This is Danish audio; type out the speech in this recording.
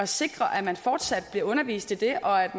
sikre at man fortsat blive undervist i det og at